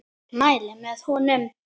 Mæli með honum.